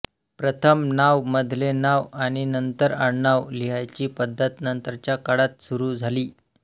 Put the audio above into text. प्रथम नाव मधले नाव आणि नंतर आडनाव लिहायची पद्धत नंतरच्या काळात सुरू झाली